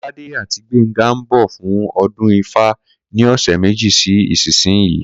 Kó̩ládé àti Gbénga ń bò̩ fún o̩dún ifá ní ò̩sè̩ méjì sí ìsinyìí